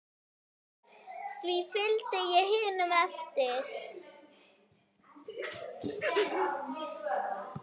Því fylgdi ég hinum eftir.